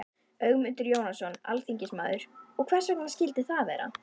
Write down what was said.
Ögmundur Jónasson, alþingismaður: Og hvers vegna skildi það vera?